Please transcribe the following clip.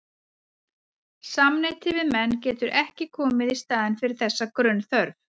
Samneyti við menn getur ekki komið í staðinn fyrir þessa grunnþörf.